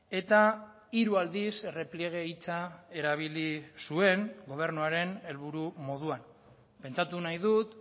eta hiru aldiz errepliege hitza erabili zuen gobernuaren helburu moduan pentsatu nahi dut